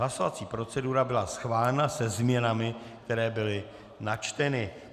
Hlasovací procedura byla schválena se změnami, které byly načteny.